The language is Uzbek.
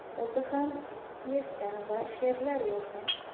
O‘zi ham pyesa va she’rlar yozgan.